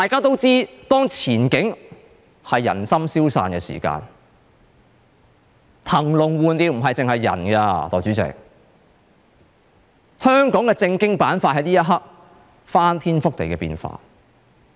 當前景令人心消散，代理主席，騰籠換鳥的不僅是人，香港的政經板塊在這一刻已有翻天覆地的變化。